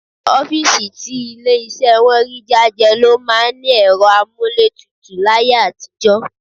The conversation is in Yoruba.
Ọ́fíìsì tí ilé iṣẹ́ wọn rí jájẹ ló máa ń ní ẹ̀rọ amúlétutù láyé àtijọ́